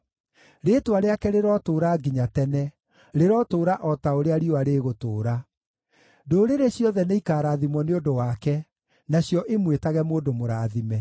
Rĩĩtwa rĩake rĩrotũũra nginya tene; rĩrotũũra o ta ũrĩa riũa rĩgũtũũra. Ndũrĩrĩ ciothe nĩikarathimwo nĩ ũndũ wake, nacio imwĩtage mũndũ mũrathime.